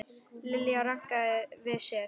Lilla rankaði við sér.